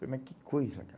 Falei, mas que coisa,